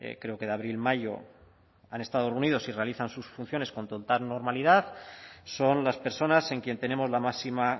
creo que de abril mayo y realizan sus funciones con total normalidad son las personas en quien tenemos la máxima